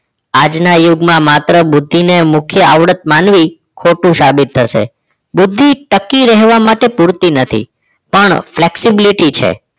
આજના યુગમાં માત્ર બુદ્ધિને મુખ્ય આવડત માનવી ખોટું સાબિત થશે બુદ્ધિ ટકી રહેવા માટે પૂરતી નથી પણ flexibility છે